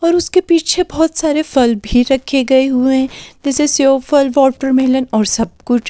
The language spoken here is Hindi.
और उसके पीछे बहुत सारे फल भी रखे गए हुए हैं जैसे सेव फल वाटरमेलन और सब कुछ --